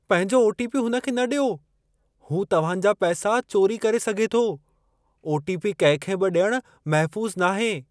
पंहिंजो ओटीपी हुन खे न ॾियो। हू तव्हां जा पैसा चोरी करे सघे थो। ओटीपी कंहिंखे बि ॾियणु महफ़ूसु नाहे।